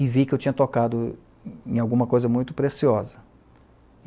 E vi que eu tinha tocado em em alguma coisa muito preciosa.